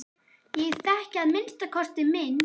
Ég þekki að minnsta kosti minn.